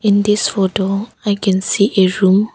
In this photo I can see a room.